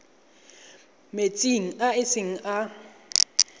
metsing a e seng a